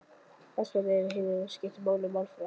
Það sem hins vegar skiptir máli er málfarið á henni.